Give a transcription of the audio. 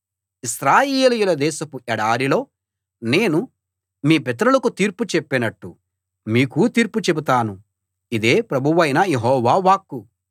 ఐగుప్తీయుల దేశపు ఎడారిలో నేను మీ పితరులకు తీర్పు చెప్పినట్టు మీకూ తీర్పు చెబుతాను ఇదే ప్రభువైన యెహోవా వాక్కు